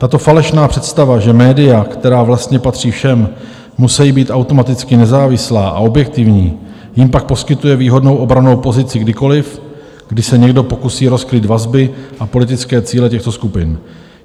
Tato falešná představa, že média, která vlastně patří všem, musejí být automaticky nezávislá a objektivní, jim pak poskytuje výhodnou obrannou pozici kdykoliv, kdy se někdo pokusí rozkrýt vazby a politické cíle těchto skupin.